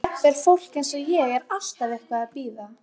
Jafnvel fólk eins og ég er alltaf eitthvað að bíða.